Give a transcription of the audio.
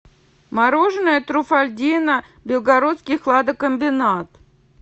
мороженое труффальдино белгородский хладокомбинат